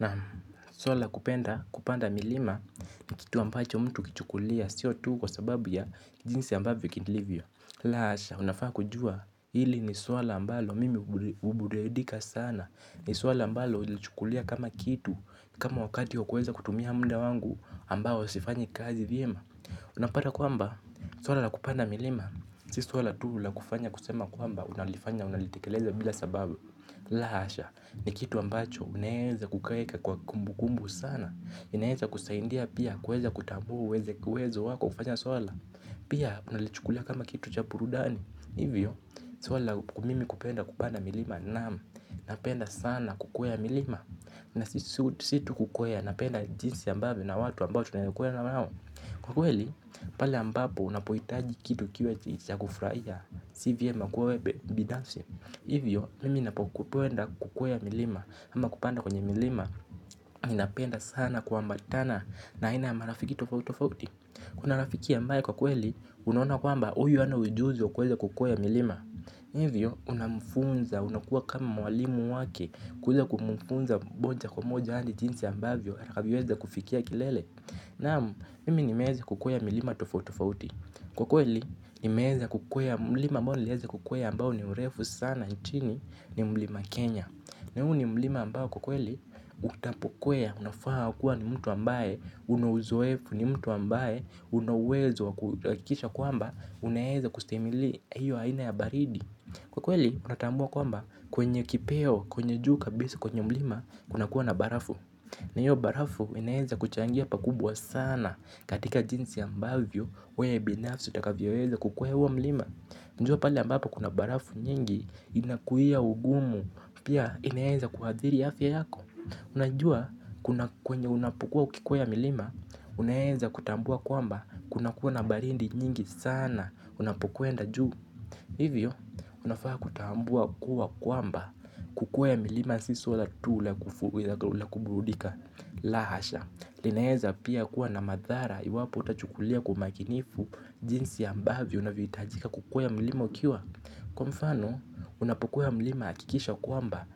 Na swala la kupenda kupanda milima ni kitu ambacho mtu hukichukulia sio tu kwa sababu ya jinsi ambavyo kilivyo. La hasha, unafaa kujua hili ni swala ambalo mimi hubudedika sana, ni swala ambalo hulichukulia kama kitu kama wakati wa kuweza kutumia muda wangu ambao sifanyi kazi vyema. Unapata kwamba, swala la kupanda milima, si swala tu la kufanya kusema kwamba unalifanya unalitekeleza bila sababu. La hasha, ni kitu ambacho unaweza kuweka kwa kumbukumbu sana. Inaeza kusaidia pia kuweza kutambua uwezo wako kufanya swala. Pia unalichukulia kama kitu cha burudani. Hivyo, swala la mimi kupenda kupanda milima naam. Napenda sana kukwea milima. Na si tu kukwea, napenda jinsi ambavyo na watu ambao tunaokwea na wao. Kwa kweli, pale ambapo unapohitaji kitu kiwe cha ya kufurahia, si vyema kuwa wewe binafsi. Hivyo mimi ninapo kwenda kukwea milima ama kupanda kwenye milima, mimi napenda sana kuambatana na ina ya marafiki tofauti tofauti. Kuna rafiki ambaye kwa kweli unaona kwamba huyu hana ujuzi wa kuweza kukwea milima. Hivyo unamfunza unakuwa kama mwalimu wake, kuweza kumfunza moja kwa moja hadi jinsi ambavyo atakavyoweza kufikia kilele. Naam, mimi nimeweza kukwea milima tofauti tofauti. Kwa kweli, mlima ambao nimeweza kukwea ambao ni mrefu sana nchini ni mlima Kenya. Na huu ni mlima ambao kwa kweli, unapokwea, unafaa kuwa ni mtu ambaye, una uzoefu, ni mtu ambaye, una uwezo wa kuhakisha kwamba, unaeza kustahimili hiyo haina ya baridi. Kwa kweli, unatambua kwamba kwenye kipeo, kwenye juu kabisa kwenye mlima, unakuwa na barafu. Na hiyo barafu inaweza kuchangia pakubwa sana katika jinsi ambavyo weye binafsi utakavyoweza kukwea huo milima. Jua pahali ambapo kuna barafu nyingi inakuia ugumu, pia inaweza kuadhiri afya yako. Unajua kwenye unapokuwa ukikwea milima, unaweza kutambua kwamba kunakuwa na baridi nyingi sana unapokwenda juu. Hivyo unafaa kutambua kuwa kwamba, kukwea milima si swala tu la kuburudika. La hasha, linaweza pia kuwa na madhara iwapo hutachukulia kwa umakinifu jinsi ambavyo unahitaji kukwea mlima ukiwa. Kwa mfano, unapokwea mlima hakikisha kwamba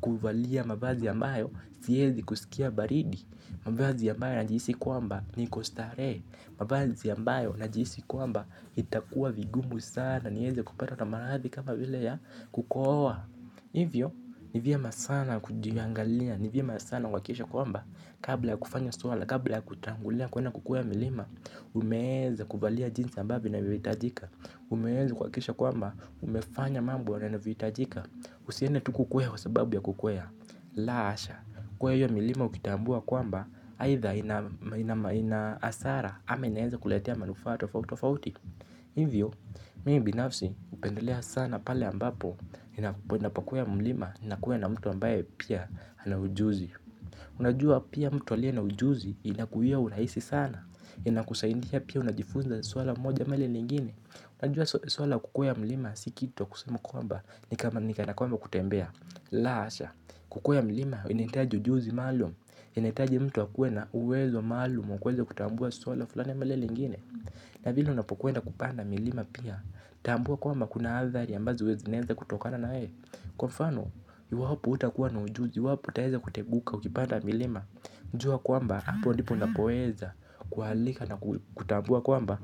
kuvalia mavazi ambayo siwezi kusikia baridi. Mavazi ambayo najihisi kwamba niko starehe. Mavazi ambayo najihisi kwamba itakuwa vigumu sana niweze kupatwa na maradhi kama vile ya kukohoa. Hivyo, ni vyema sana kujiangalia, ni vyema sana kuhakikisha kwamba, kabla ya kufanya swala, kabla ya kutangulia kwenda kukwea milima, umeweza kuvalia jinsi ambavyo inavyohitajika. Umeweza kuhakisha kwamba, umefanya mambo yanavyohitajika. Usiende tu kukwea kwa sababu ya kukwea. La hasha, kwea hio milima ukitambua kwamba, haidha ina hasara ama inaweza kuletea manufaa tofauti tofauti. Hivyo, mimi binafsi hupendelea sana pale ambapo ninapakwea mlima na kuwa na mtu ambaye pia ana ujuzi. Unajua pia mtu aliye na ujuzi inakuia urahisi sana, inakusaidia pia unajifunza swala moja ama lile lingine. Unajua swala la kukwea mlima si kitu ya kusema kwamba ni kana kwamba kutembea. La hasha, kukwea milima inahitaji ujuzi maalum. Inahitaji mtu akuwe na uwezo maalum wa kuweza kutambua swala fulani ama lile lingine. Na vile unapokwenda kupanda milima pia, tambua kwamba kuna athari ambazo zinaweza kutokana naye. Kwa mfano, iwapo hutakuwa na ujuzi, iwapo utaweza kuteguka ukipanda milima jua kwamba, hapo ndipo unapoweza kualika na kutambua kwamba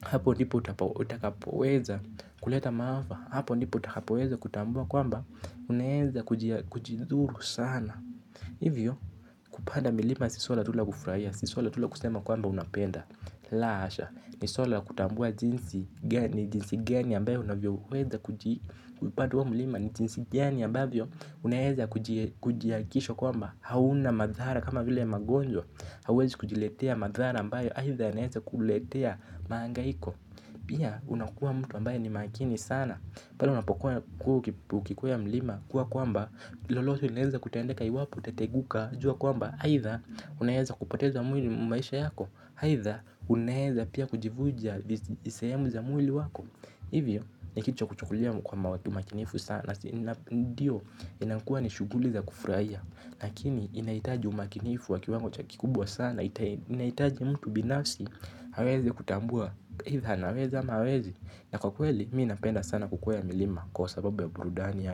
hapo ndipo utakapoweza kuleta maafa. Hapo ndipo utakapoweza kutambua kwamba unaweza kujidhuru sana. Hivyo kupada milima si swala tu la kufurahia. Si swala tu la kusema kwamba unapenda. La hasha ni swala la kutambua jinsi gani ambayo unavyoweza kujilinda. Kupanda huo mlima. Ni jinsi gani ambavyo unaweza kuhakikisha kwamba, hauna madhara kama vile magonjwa. Hauwezi kujiletea madhara ambayo aidha yanaweza kuletea mahangaiko. Pia unakua mtu ambaye ni makini sana. Pale unapokuwa ukikwea mlima, kuwa kwamba lolote linaweza kutendeka. Iwapo utateguka jua kwamba aidha, unaweza kupoteza maisha yako. Aidha unaweza pia kujivunja sehemu za mwili wako. Hivyo, ni kitu cha kuchukulia kwa umakinifu sana. Ndiyo, inakua ni shughuli za kufurahia. Lakini, inahitaji umakinifu wa kiwango kikubwa sana. Inahitaji mtu binafsi, aweze kutambua aidha anaweza ama hawezi. Na kwa kweli, mimi napenda sana kukwea milima. Kwa sababu ya burudani ya.